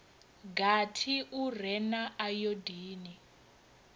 gathi u re na ayodini